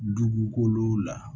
Dugukolo la